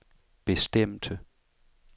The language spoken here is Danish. bestemte